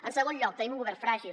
en segon lloc tenim un govern fràgil